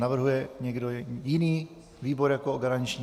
Navrhuje někdo jiný výbor jako garanční?